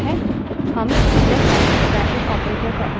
पहले देखते हैं कि standard input कैसे रिडाइरेक्ट होता है